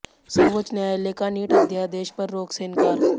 सर्वोच्च न्यायालय का नीट अध्यादेश पर रोक से इनकार